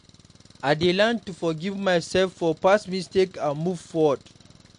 I dey learn to forgive myself for past mistakes and move forward.